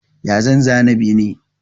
Ya zan zana bene?